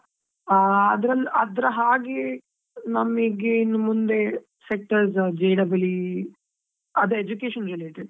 ಆ, ಅದ್ರಲ್ ಅದ್ರ ಹಾಗೆ, ನಮಿಗೆ ಇನ್ಮುಂದೆ sectors J double E ಅದು education related .